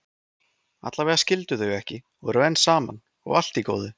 Allavega skildu þau ekki og eru enn saman, og allt í góðu.